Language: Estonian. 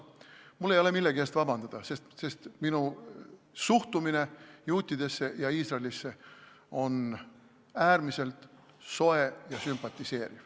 Mul ei ole millegi eest vabandada, sest minu suhtumine juutidesse ja Iisraeli on äärmiselt soe ja sümpatiseeriv.